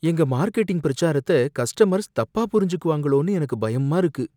எங்க மார்கெடிங் பிரச்சாரத்த கஸ்டமர்ஸ் தப்பா புரிஞ்சுக்குவாங்களோன்னு எனக்கு பயமா இருக்கு.